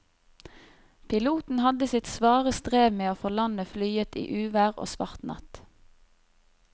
Piloten hadde sitt svare strev med å få landet flyet i uvær og svart natt.